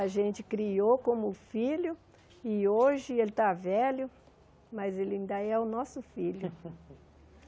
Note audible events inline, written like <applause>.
A gente criou como filho e hoje ele está velho, mas ele ainda é o nosso filho. <laughs>